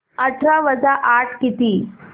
अठरा वजा आठ किती